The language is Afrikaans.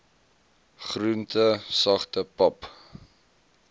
groente sagte pap